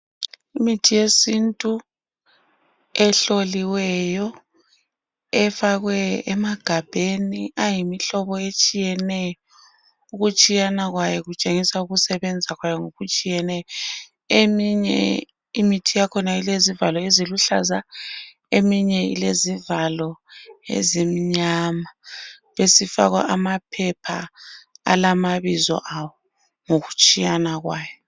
Imithi yesintu ehloliweyo efakwe emagabheni ayimihlobo etshiyeneyo. Ukutshiyana kwayo kutshengisa ukusebenza kwayo ngokutshiyeneyo. Eminye imithi yakhona ilezivalo eziluhlaza eminye ilezivalo ezimnyama besifakwa amaphepha alamabizo awo ngokutshiyana kwayo.